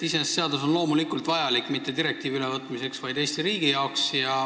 Iseenesest on seadus loomulikult vajalik, mitte direktiivi ülevõtmiseks, vaid Eesti riigi jaoks.